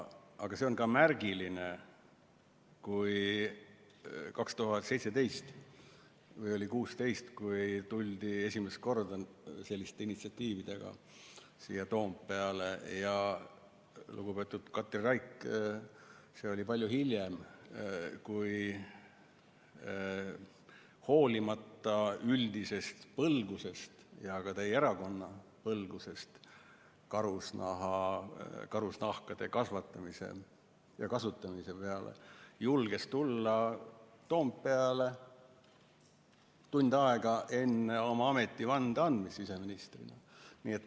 Aga see on ka märgiline, et kui 2017 või oli see 2016 tuldi esimest korda selliste initsiatiividega siia Toompeale, siis lugupeetud Katri Raik – see oli juba palju hiljem – julges hoolimata üldisest põlgusest ja ka teie erakonna põlgusest karusloomade kasvatamise ja nende nahkade kasutamise vastu tulla kasukas Toompeale tund aega enne oma ametivande andmist siseministrina.